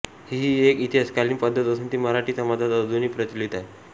हीही एक इतिहासकालीन पद्धत असून ती मराठी समाजात अजूनही प्रचलित आहे